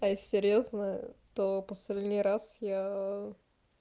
а если серьёзно то последний раз я